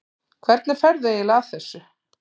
Hvernig ferðu eiginlega að þessu?